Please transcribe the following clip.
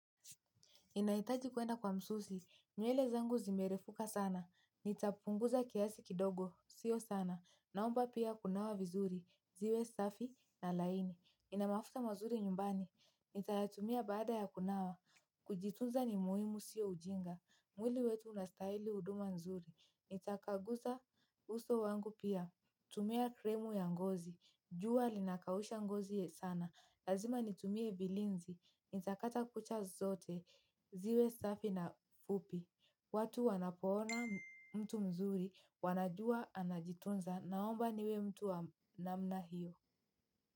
Ninaitaji kuenda kwa msusi. Nywele zangu zimerefuka sana. Nitapunguza kiasi kidogo. Sio sana naomba pia kunawa vizuri. Ziwe safi na laini. Nina mafuta mazuri nyumbani. Nitayatumia baada ya kunawa. Kujitunza ni muhimu sio ujinga. Mwili wetu unastahili huduma nzuri. Nitapanguza uso wangu pia. Tumia krimu ya ngozi, jua linakausha ngozi sana. Lazima nitumie vilinzi, nitakata kucha zote, ziwe safi na fupi. Watu wanapoona mtu mzuri wanajua anajitunza naomba niwe mtu wa namna hiyo.